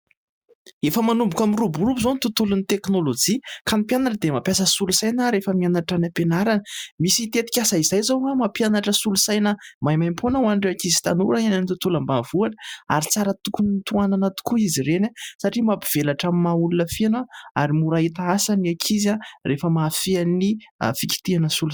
efa manomboka miroaborombo izao ny tontolon'ny teknolojia ka ny mpianatra dia mampiasa solo saina rehefa mianatra any am-pianarana misy hitetikasa izay zao a mampianatra solo saina maimaim-poana ho an'ire akizy tanora en an'ny tontolam-bavohana ary tsara tokon'ny toanana tokoa izy reny a satria mampivelatra amin'ny mahaolona fianah ary morahita asa ny ankizy ahy rehefa mahafian'ny fikitiana soa